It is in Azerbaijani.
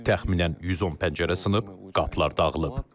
Təxminən 110 pəncərə sınıb, qapılar dağılıb.